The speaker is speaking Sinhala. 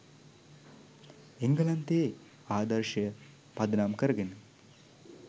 එංගලන්තයේ ආදර්ශය පදනම් කරගෙන